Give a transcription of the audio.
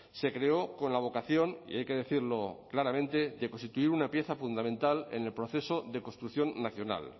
se creó con la vocación y hay que decirlo claramente de constituir una pieza fundamental en el proceso de construcción nacional